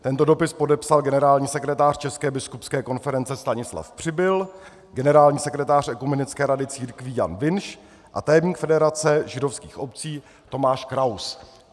Tento dopis podepsal generální sekretář České biskupské konference Stanislav Přibyl, generální sekretář Ekumenické rady církví Jan Vinš a tajemník Federace židovských obcí Tomáš Kraus.